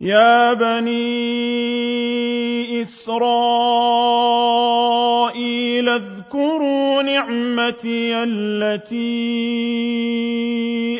يَا بَنِي إِسْرَائِيلَ اذْكُرُوا نِعْمَتِيَ الَّتِي